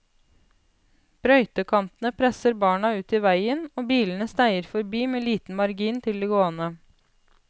Brøytekantene presser barna ut i veien, og bilene sneier forbi med liten margin til de gående.